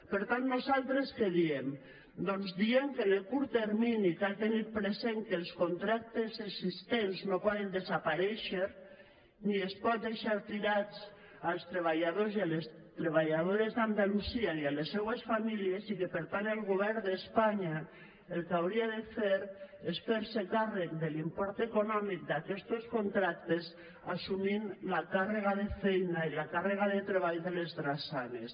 per tant nosaltres què diem doncs diem que en el curt termini cal tenir present que els contractes existents no poden desaparèixer ni es pot deixar tirats els treballadors i les treballadores d’andalusia i les seues famílies i que per tant el govern d’espanya el que hauria de fer és fer se càrrec de l’import econòmic d’aquestos contractes assumint la càrrega de feina i la càrrega de treball de les drassanes